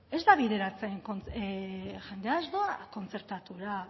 ez da bideratzen jendea ez doa kontzertatura